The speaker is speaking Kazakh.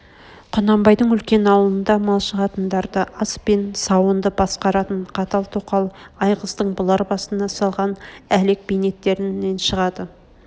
құнанбайдың үлкен аулында малшы қатындарды ас пен сауынды басқаратын қатал тоқал айғыздың бұлар басына салған әлек бейнеттерн шағады